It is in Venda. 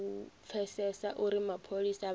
u pfesesa uri mapholisa vha